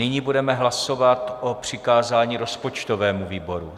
Nyní budeme hlasovat o přikázání rozpočtovému výboru.